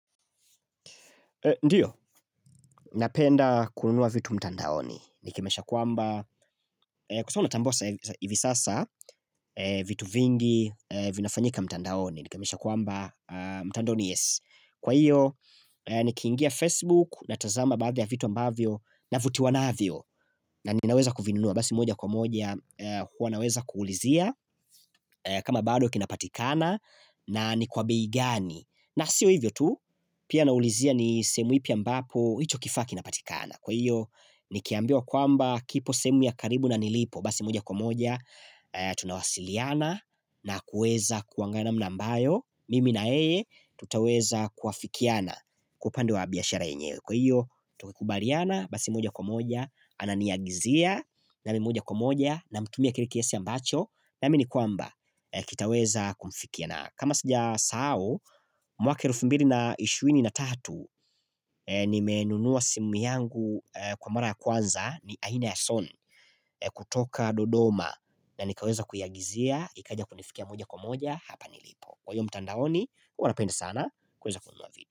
Ndio, napenda kununua vitu mtandaoni. Nikimesha kwamba, kusawa unatambua hivi sasa, vitu vingi vinafanyika mtandaoni. Nikimisha kwamba, mtandaoni yes. Kwa hiyo, nikingia Facebook, natazama baadha ya vitu ambavyo, navutiwanavyo. Na ninaweza kuvinunua, basi moja kwa moja, huwa naweza kuulizia, kama bado kinapatikana, na ni kwa bei gani. Na sio hivyo tu pia naulizia ni semu ipi ambapo hicho kifaa kinapatikana Kwa hiyo nikiambiwa kwamba kipo semu ya karibu na nilipo Basi moja kwa moja tunawasiliana na kuweza kuanga namna ambayo Mimi na yeye tutaweza kuafikiana kwa upande wa biashara yenyewe Kwa hiyo tukikubaliana basi moja kwa moja ananiagizia nami moja kwa moja namtumia kile kiasi ambacho Naamini kwamba kitaweza kumfikia na na kama sijasahao, mwaka elfu mbili na ishirini na tatu nimenunua simu yangu kwa mara ya kwanza ni aina ya soni kutoka dodoma na nikaweza kuiagizia, ikaja kunifikia moja kwa moja hapa nilipo. Kwa hiyo mtandaoni, huwa napenda sana kuweza kununua vitu.